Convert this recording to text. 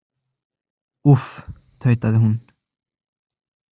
Úff, tautaði hún.